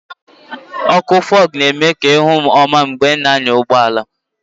ọkụ Fog na-eme ka ị hụ nke ọma mgbe ị na-anya ụgbọ ala